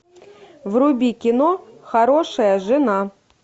вруби кино хорошая жена